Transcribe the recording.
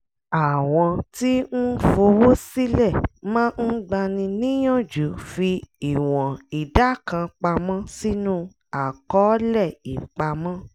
àwọn tí ń fowó sílẹ̀ máa ń gbani níyànjú fi ìwọ̀n ìdá kan pamọ́ sínú àkọọlẹ̀ ìpamọ́